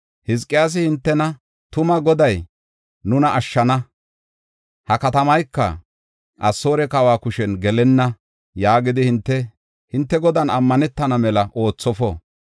Hizqiyaasi hintena, ‘Tuma Goday nuna ashshana; ha katamayka Asoore kawa kushen gelenna’ yaagidi, hinte Godan ammanetana mela oothofo.